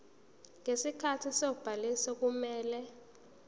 ngesikhathi sobhaliso kumele